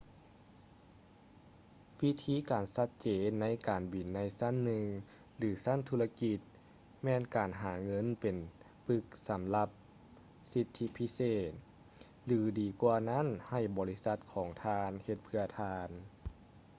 ວິທີການຊັດເຈນໃນການບິນໃນຊັ້ນໜຶ່ງ ຫລື ຊັ້ນທຸລະກິດແມ່ນການຫາເງິນເປັນປຶກສຳລັບສິດທິພິເສດ ຫຼື ດີກວ່ານັ້ນໃຫ້ບໍລິສັດຂອງທ່ານເຮັດເພື່ອທ່ານ